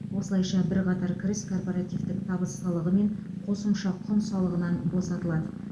осылайша бірқатар кіріс корпоративтік табыс салығы мен қосымша құн салығынан босатылады